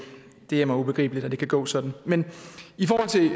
er mig ubegribeligt at det kan gå sådan men i forhold til